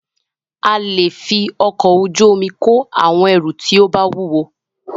A lè fí ọkọ̀ ojú omi kó àwọn ẹrù tí o bá wúwo.